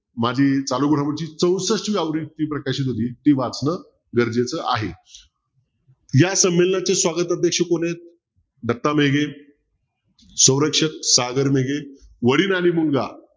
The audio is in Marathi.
माझी चालू बरोबरची चौसष्टावी प्रकाशित होती ते वाचन गरजेचं आहे या संमेलनांच्या स्वागताचे कोण आहेत दत्त मेघे सौरक्षक सागर मेघे वडील आणि मुलगा